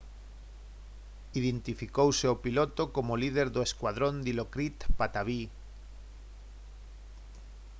identificouse ao piloto como o líder do escuadrón dilokrit pattavee